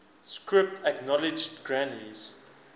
script acknowledged granny's